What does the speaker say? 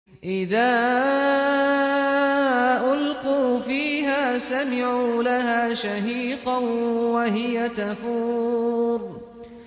إِذَا أُلْقُوا فِيهَا سَمِعُوا لَهَا شَهِيقًا وَهِيَ تَفُورُ